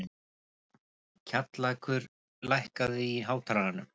Kjallakur, lækkaðu í hátalaranum.